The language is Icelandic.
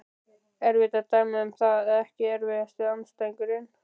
Erfitt að dæma um það Ekki erfiðasti andstæðingur?